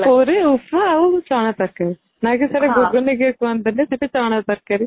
ପୁରୀ ଉପମା ଆଉ ଚଣା ତରକାରୀ ନାଇଁ କି ସେଇଟେ ଗୁଗୁନି କିଏ କହନ୍ତିନି ସେଈଟେ ଚଣା ତରକାରୀ